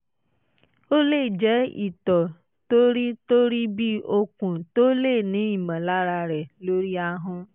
ó lè jẹ́ itọ́ tó rí tó rí bí okùn tó o lè ní ìmọ̀lára rẹ̀ lórí ahọ́n